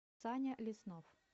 саня леснов